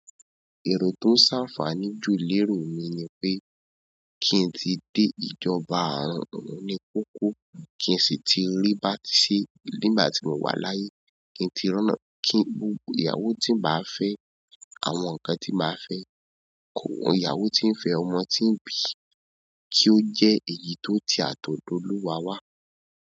Èrò tó ń ṣàfààní jù léro mi ni pé kí n tí dé ìjọba oorùn ní kókó, kí n sì tí rí bá ti ṣe nígbà tí mo wà láyé, kí n tí ránná kí gbogbo ìyàwó tí màá fẹ́, àwọn nkan tí màá fẹ́, kò hun ìyàwó tí ń fẹ́ ọmọ tí ń bí, kí ó jẹ́ èyí tó ti àtọ̀dọ̀ olúwa wá.